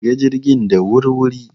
Shiga jirgin da wur-wuri!